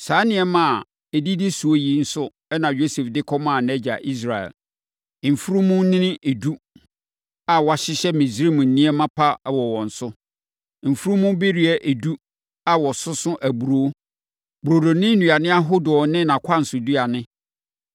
Saa nneɛma a ɛdidi so yi nso na Yosef de kɔmaa nʼagya Israel: mfunumunini edu a wɔahyehyɛ Misraim nneɛma pa wɔ wɔn so, mfunumubereɛ edu a wɔsoso aburoo, burodo ne nnuane ahodoɔ ne nʼakwansoduane.